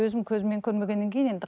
көрмегеннен кейін енді